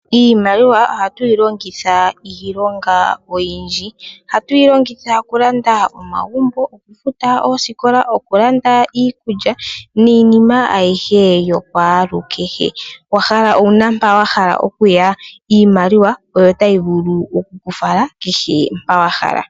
Iimaliwa ohatu yi longitha iilonga oyindji, ohatu yi longitha okulanda omagumbo, oku futa oosikola, okulanda iikulya, niinima ayihe yokwaalukehe. Owuna mpa wa hala okuya, iimaliwa oyo tayi vulu okuku fala kehe mpa wa hala.